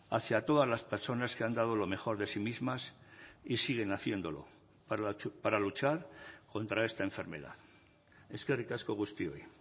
hacia todas las personas que han dado lo mejor de sí mismas y siguen haciéndolo para luchar contra esta enfermedad eskerrik asko guztioi